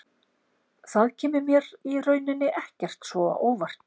Það kemur mér í rauninni ekkert svo á óvart.